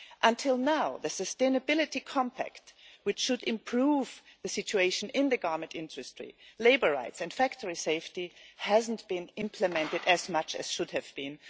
Until now, the sustainability compact, which is supposed to improve the situation in the garment industry, labour rights and factory safety, has not been implemented as much as it should have been.